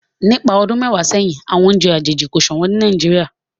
nípa ọdún mẹwàá séhìn àwọn oúnjẹ àjèjì ko ṣọwọn ní Nàìjíríà